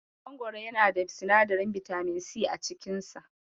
Mangoro yana da sinadarin bitamin si a cikin sa.